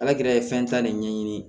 Alakira ye fɛn ta ne ɲɛɲini